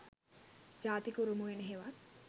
ජාතික උරුම උයන හෙවත්